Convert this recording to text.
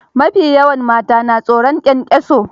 Ma fi yawan mata na tsoron kyankyaso.